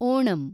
Onam